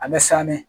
A bɛ san ne